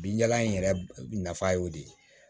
Bi yala in yɛrɛ nafa y'o de ye